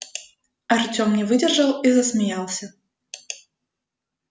артем не выдержал и засмеялся